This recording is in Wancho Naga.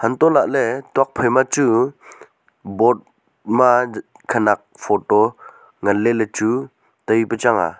hantohlahley tokphai ma chu board ma khanak photo manley ley chu taipe chang a.